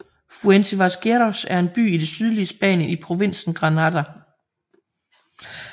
Fuente Vaqueros er en by i det sydlige Spanien i provinsen Granada